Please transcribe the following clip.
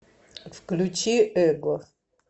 включи эго